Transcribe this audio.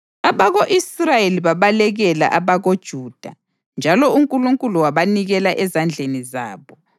Abako-Israyeli babalekela abakoJuda njalo uNkulunkulu wabanikela ezandleni zabo.